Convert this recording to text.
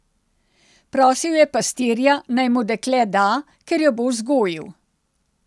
Prosil je pastirja, naj mu dekle da, ker jo bo vzgojil.